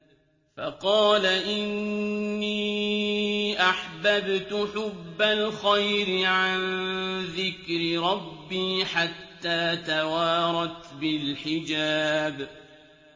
فَقَالَ إِنِّي أَحْبَبْتُ حُبَّ الْخَيْرِ عَن ذِكْرِ رَبِّي حَتَّىٰ تَوَارَتْ بِالْحِجَابِ